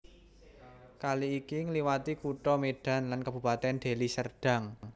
Kali iki ngliwati Kutha Medan lan Kabupaten Deli Serdang